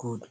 good